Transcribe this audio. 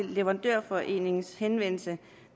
leverandørforeningens henvendelse